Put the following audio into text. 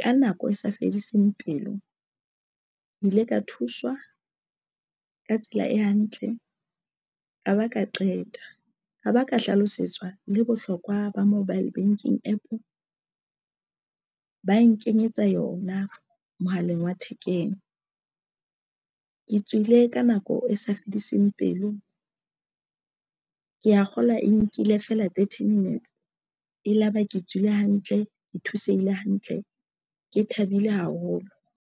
ka nako e sa fediseng pelo ke ile ka thuswa ka tsela e hantle. Ka ba ka qeta ka ba ka hlalosetswa le bohlokwa ba mobile banking APP ba nkenyetsa yona mohaleng wa thekeng. ke tswile ka nako e sa fediseng pelo. ke ya kgolwa e nkile feela thirty minutes e la ba ke tswile hantle, ke thusehile hantle ke thabile haholo.